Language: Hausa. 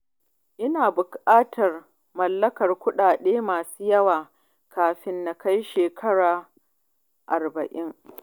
Ina bukatar mallakar kudade masu yawa kafin na kai shekaru arba'in.